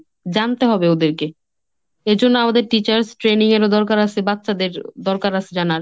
জানতে হবে ওদেরকে। এর জন্য আমাদের teachers training এরও দরকার আছে বাচ্চাদের দরকার আছে জানার।